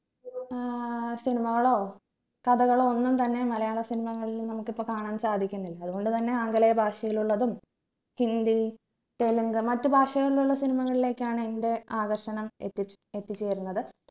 ഏർ cinema കളോ കഥകളോ ഒന്നും തന്നെ മലയാള cinema കളിൽ നമുക്ക് ഇപ്പൊ കാണാൻ സാധിക്കുന്നില്ല അതുകൊണ്ട് തന്നെ ആംഗലേയ ഭാഷയിലുള്ളതും ഹിന്ദി തെലുങ്ക് മറ്റു ഭാഷകളിലുള്ള cinema കളിലേക്കാണ് എന്റെ ആകർഷണം എത്തിച് എത്തിച്ചേരുന്നത്